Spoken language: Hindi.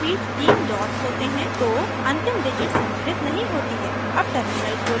जब नंबर्स के बीच 3 डॉट्स होते हैं तो अंतिम डिजिट सम्मिलित नहीं होती है